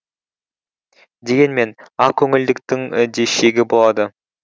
дегенмен ақкөңілдіктің де шегі болады